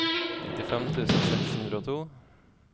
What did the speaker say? nittifem tusen seks hundre og to